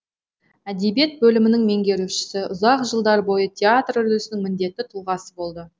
әдебиет бөлімінің меңгерушісі ұзақ жылдар бойы театр үрдісінің міндетті тұлғасы болды